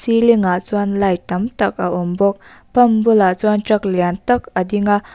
iling ah chuan light tam tak a awm bawk pump bulah chuan truck lian tak a ding a.